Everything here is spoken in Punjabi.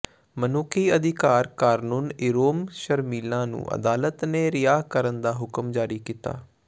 ਮਨੁੱਖੀ ਅਧਿਕਾਰ ਕਾਰਕੁਨ ਇਰੋਮ ਸ਼ਰਮੀਲਾ ਨੂੰ ਅਦਾਲਤ ਨੇ ਰਿਹਾਅ ਕਰਨ ਦਾ ਹੁਕਮ ਜਾਰੀ ਕੀਤਾ